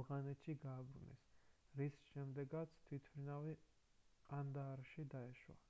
ავღანეთში გააბრუნეს რის შემდეგაც თვითმფრინავი ყანდაარში დაეშვა